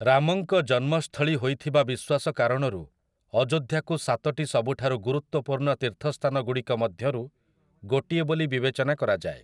ରାମଙ୍କ ଜନ୍ମସ୍ଥଳୀ ହୋଇଥିବା ବିଶ୍ୱାସ କାରଣରୁ, ଅଯୋଧ୍ୟାକୁ ସାତଟି ସବୁଠାରୁ ଗୁରୁତ୍ୱପୂର୍ଣ୍ଣ ତୀର୍ଥସ୍ଥାନଗୁଡ଼ିକ ମଧ୍ୟରୁ ଗୋଟିଏ ବୋଲି ବିବେଚନା କରାଯାଏ ।